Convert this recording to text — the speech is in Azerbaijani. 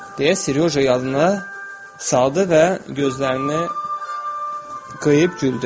Deyə Seryoja yadına saldı və gözlərini qıyıb güldü.